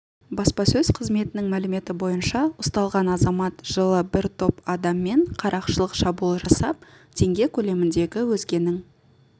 баспасөз қызметінің мәліметі бойынша ұсталған азамат жылы бір топ адаммен қарақшылық шабуыл жасап теңге көлеміндегі өзгенің